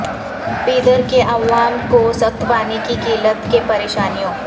بیدر کے عوام کو سخت پانی کی قلت کے پریشانیوں